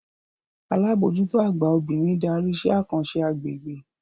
Alábòójútó àgbà obìnrin darí iṣẹ́ àkànṣe agbègbè